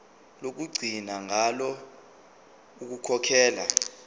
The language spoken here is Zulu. lokugcina ngalo ukukhokhela